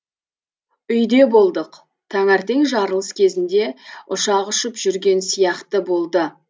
үйде болдық таңертең жарылыс кезінде ұшақ ұшып жүрген сияқты болды